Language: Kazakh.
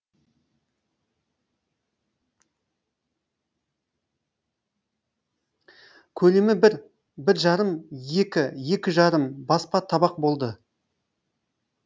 көлемі бір бір жарым екі екі жарым баспа табақ болды